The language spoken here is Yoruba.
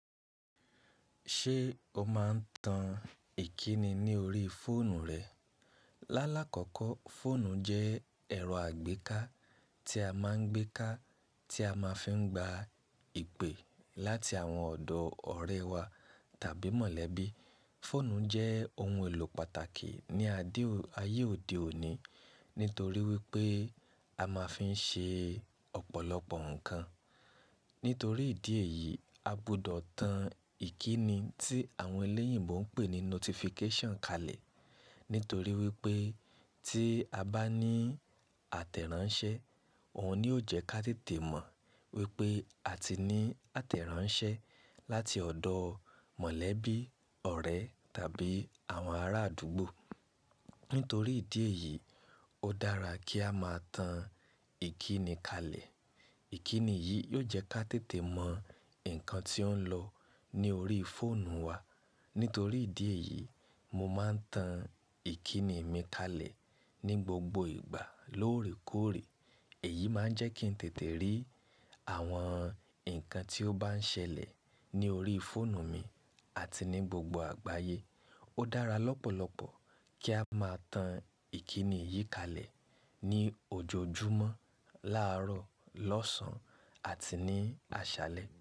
Ṣé o máa ń tan ìkíni ní orí fóònù rẹ? Lálá kọ́kọ́, fóònù jẹ́ ẹ̀rọ àgbéká tí a máa ń gbé ká, tí a máa fi ń gba ìpè láti àwọn ọ̀dọ̀ ọ̀rẹ́ wa tàbí mọ̀lẹ́bí. Fóònù jẹ́ ohun èlò pàtàkì ní ayé òde òní nítorí wípé a máa ń fi ṣe ọ̀pọ̀lọpọ̀ ǹkan. Nítorí ìdí èyí, a gbọ́dọ̀ tan ìkíni tí àwọn elẹ́yìnbo ń pè ní notification kalẹ̀. Nítorí wípé tí a bá ní àtẹ̀ránṣẹ́, òun ni ó jẹ́ ká tètè mọ̀ wípé a ti ní àtẹ̀ránṣẹ́ láti ọ̀dọ̀ mọ̀lẹ́bí, ọ̀rẹ́ tàbí àwọn ará àdúgbò. Nítorí ìdí èyí, ó dára kí a máa tan ìkíni kalẹ̀. Ìkíni yìí yóò jẹ́ ká tètè mọ̀ ǹkan tí ó ń lọ ní orí fóònù wa. Nítorí ìdí èyí, mo máa ń tan ìkíni mi kalẹ̀ ní gbogbo ìgbà lóòrè kóòrè. Èyí máa ń jẹ́ kí n tètè rí àwọn ǹkan tí ó bá ń ṣẹlẹ̀ ní orí fóònù mi àti ní gbogbo àgbáyé. Ó dára lọ́pọ̀lọpọ̀ kí a máa tan ìkíni yìí kalẹ̀ ní ojoojúmọ́, láàárọ̀, lọ́sàn àti ní àṣálẹ́.